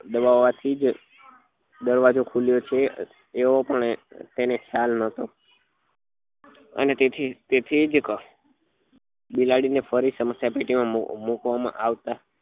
દબાવવા થી જ દરવાજો ખુલ્યો છે એવો પણ તેને ખ્યાલ નહતો અને તેથી જ તેથી જ બિલાડી ને ફરી સમસ્યા પેટી માં મુક મુકવા માં આવતા